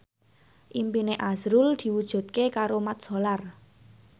impine azrul diwujudke karo Mat Solar